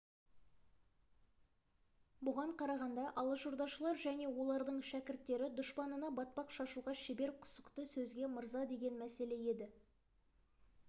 бұған қарағанда алашордашылар және олардың шәкірттері дұшпанына батпақ шашуға шебер құсықты сөзге мырза деген мәселе еді